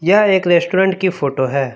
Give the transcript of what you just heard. यह एक रेस्टोरेंट की फोटो है।